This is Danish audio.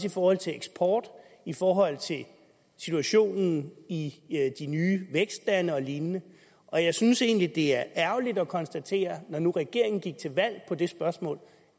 i forhold til eksporten og i forhold til situationen i de nye vækstlande og lignende og jeg synes egentlig at det er ærgerligt at konstatere når nu regeringen gik til valg på det spørgsmål